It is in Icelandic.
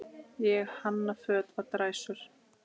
Ég hanna föt á dræsur.